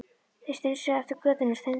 Þeir strunsuðu eftir götunni og steinþögðu.